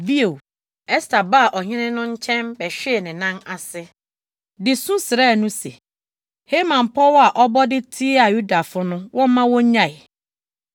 Bio, Ɛster baa ɔhene no nkyɛn bɛhwee ne nan ase, de su srɛɛ no se, Haman pɔw a ɔbɔ de tiaa Yudafo no wɔmma wonnyae.